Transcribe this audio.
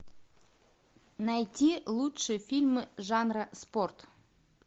найти лучшие фильмы жанра спорт